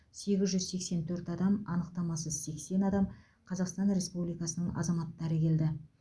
сегіз жүз сексен төрт адам анықтамасыз сексен адам қазақстан республикасы азаматтары келді